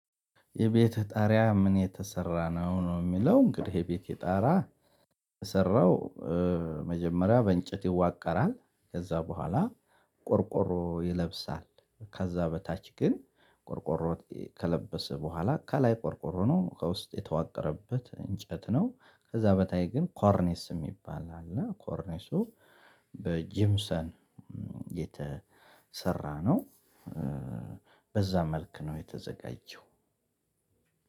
የቤትህ ጣሪያ ከምን የተሰራ ነው አሁን የሚለው እንግዲህ የቤቴ ጣራ የተሰራው መጀመሪያ በእንጨት ይዋቀራል። ከዛ በኋላ ቆርቆሮ ይለብሳል። ከዛ በታች ግን ቆርቆሮ ከለበሰ በኋላ ከላይ ቆርቆሮ ነው ከውስጥ የተዋቀረበት እንጨት ነው ከዛ በታች ግን ኮርኒስ የሚባል አለ ኮርኒሱ በጂፕሰም የተሰራ ነው በዛ መልክ ነው የተዘጋጀው።